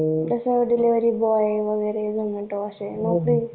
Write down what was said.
जसं delivery boy